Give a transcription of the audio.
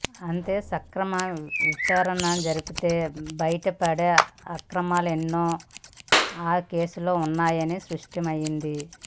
అంటే సక్రమ విచారణ జరిపితే బైటపడే అక్రమాలేవో ఆ కేసులో ఉన్నాయని స్పష్టమైంది